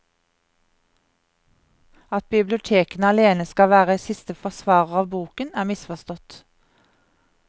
At bibliotekene alene skal være siste forsvarer av boken, er misforstått.